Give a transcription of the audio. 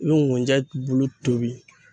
I be ŋunjɛ bulu tobi